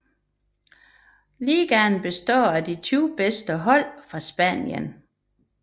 Ligaen består af de 20 bedste hold fra Spanien